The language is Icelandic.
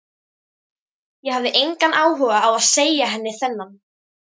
Ég hafði engan áhuga á að segja henni þennan.